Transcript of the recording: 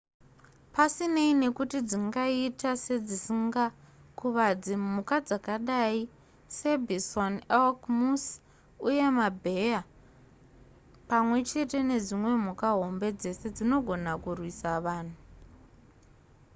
pasinei nekuti dzingaita sedzisingakuvadzi mhuka dzakadai sebison elk moose uye mabheya pamwe chete nedzimwe mhuka hombe dzese dzinogona kurwisa vanhu